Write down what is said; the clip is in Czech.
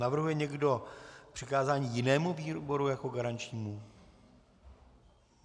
Navrhuje někdo přikázání jinému výboru jako garančnímu?